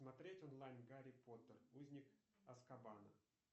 смотреть онлайн гарри поттер узник азкабана